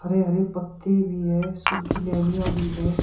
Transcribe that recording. हरे हरे पत्ते भी है सूखी डालियाँ भी है।